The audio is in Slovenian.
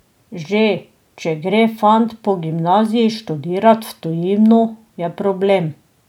Že če gre fant po gimnaziji študirat v tujino, je problem.